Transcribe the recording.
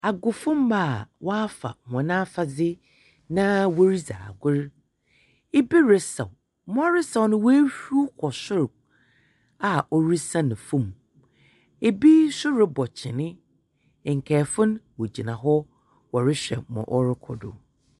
Agofomba a wɔafa hɔn afadze na woridzu agor. Bi resaw. Ma ɔresaw no oehur kɔ sor a ɔresian famu. Bi nso robɔ kyene. Nkaefo no wogyina hɔ wɔrehwɛ ma ɔrokɔ do.